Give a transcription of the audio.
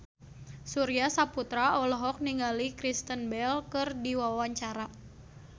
Surya Saputra olohok ningali Kristen Bell keur diwawancara